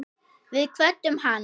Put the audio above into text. Við kvöddum hann.